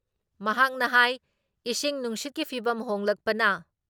ꯃꯍꯥꯛꯅ ꯍꯥꯏ ꯏꯪꯁꯤꯡ ꯅꯨꯡꯁꯤꯠꯀꯤ ꯐꯤꯚꯝ ꯍꯣꯡꯂꯛꯄꯅ